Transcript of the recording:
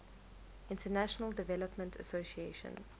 international development association